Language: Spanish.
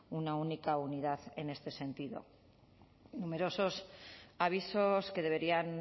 una única unidad en este sentido numerosos avisos que deberían